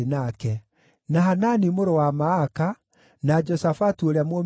na Hanani mũrũ wa Maaka, na Joshafatu ũrĩa Mũmithini,